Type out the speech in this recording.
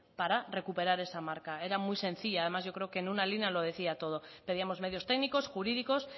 para recuperar esa marca era muy sencillo además yo creo que en una línea lo decía todo pedíamos medios técnicos jurídicos